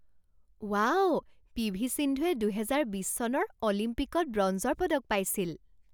Wow P V সিন্ধুৱে দুহেজাৰ বিছ চনৰ অলিম্পিকত ব্ৰঞ্জৰ পদক পাইছিল।